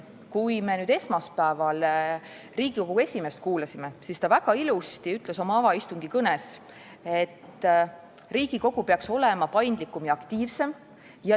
Kui me esmaspäeval Riigikogu esimeest kuulasime, siis oma avaistungi kõnes ütles ta väga ilusti, et Riigikogu peaks olema paindlikum ja aktiivsem.